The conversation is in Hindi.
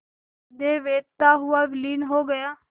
हृदय वेधता हुआ विलीन हो गया